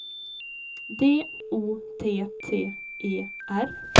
D O T T E R